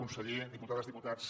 conseller diputades diputats